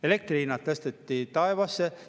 Elektrihinnad tõsteti taevasse.